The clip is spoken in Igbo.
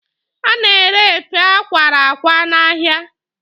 A na-ere efe a kwara akwa n'ahịa.